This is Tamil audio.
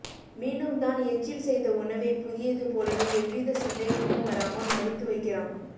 மீண்டும் தான் எச்சில் செய்த உணவை புதியது போலவே எவ்வித சந்தேகமும் வராமல் மடித்து வைக்கிறான்